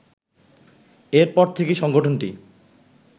এর পর থেকেই সংগঠনটি